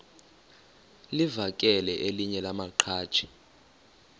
livakele elinye lamaqhaji